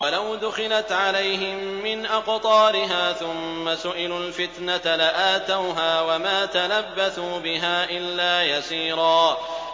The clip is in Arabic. وَلَوْ دُخِلَتْ عَلَيْهِم مِّنْ أَقْطَارِهَا ثُمَّ سُئِلُوا الْفِتْنَةَ لَآتَوْهَا وَمَا تَلَبَّثُوا بِهَا إِلَّا يَسِيرًا